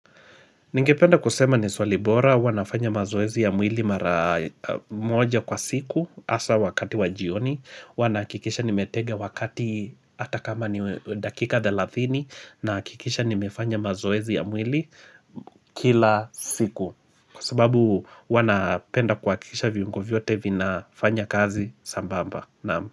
Ningependa kusema ni swali bora huwa nafanya mazoezi ya mwili mara moja kwa siku hasa wakati wa jioni huwa nahakikisha nimetega wakati hata kama ni dakika thelathini nahakikisha nimefanya mazoezi ya mwili kila siku Kwa sababu huwa napenda kuhakikisha viungo vyote vinafanya kazi sambamba.